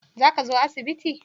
Za ka zo asibiti?